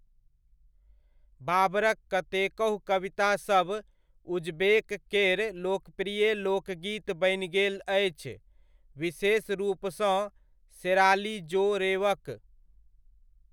बाबरक कतेकहु कवितासभ उज़्बेक केर लोकप्रिय लोकगीत बनि गेल अछि, विशेष रूपसँ शेराली जो'रेवक।